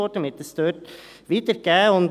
Man hat es dort wiedergegeben.